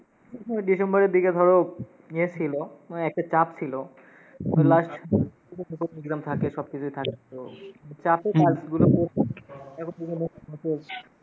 ওই December দিকে ধরো, ইয়ে ছিলো, মানে একটা চাপ ছিলো। ওই last exam টেক্সাম থাকে, সব কিছুই থাকে, তো চাপেই কাজগুলো